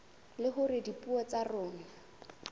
le hore dipuo tsa rona